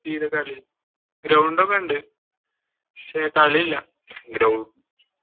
Ground ഒക്കെ ഉണ്ട് പക്ഷെ കളിയില്ല.